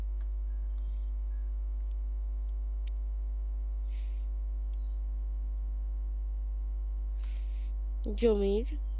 জমির